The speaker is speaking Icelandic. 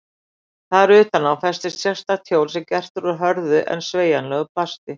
Þar utan á festist sérstakt hjól sem gert er úr hörðu en sveigjanlegu plasti.